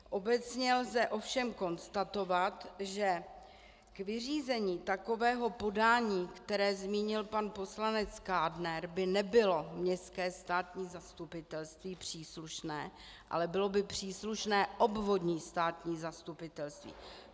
Obecně lze ovšem konstatovat, že k vyřízení takového podání, které zmínil pan poslanec Kádner, by nebylo Městské státní zastupitelství příslušné, ale bylo by příslušné obvodní státní zastupitelství.